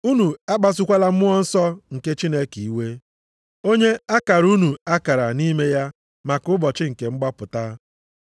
Unu akpasukwala Mmụọ Nsọ nke Chineke iwe, onye a kara unu akara nʼime ya maka ụbọchị nke mgbapụta.